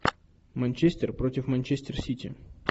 манчестер против манчестер сити